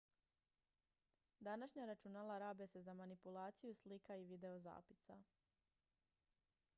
današnja računala rabe se za manipulaciju slika i videozapisa